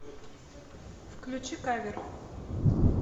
включи кавер